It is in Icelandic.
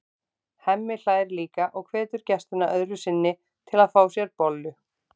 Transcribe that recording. Hemmi hlær líka og hvetur gestina öðru sinni til að fá sér bollu.